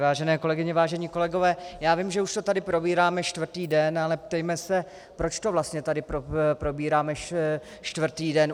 Vážené kolegyně, vážení kolegové, já vím, že už to tady probíráme čtvrtý den, ale ptejme se, proč to vlastně tady probíráme čtvrtý den.